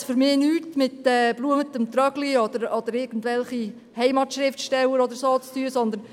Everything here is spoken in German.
Das hat für mich nichts mit «bluemetem Trögli» oder irgendwelchen Heimatschriftstellern oder so zu tun.